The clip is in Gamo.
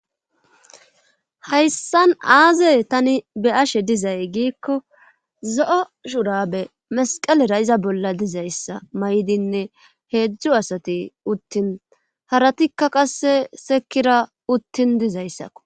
Hayssan aaze tani be'ashshe dizay giikko zo'o shurabe masqalera iza bolla dizayssa may'dinne heedzdzu asati uttin haratikka qasse sekiira uttin dizayssakko